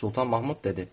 Sultan Mahmud dedi: